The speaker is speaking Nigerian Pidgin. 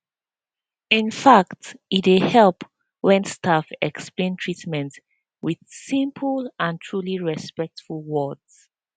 in fact e dey help when staff explain treatment with simple and truly respectful words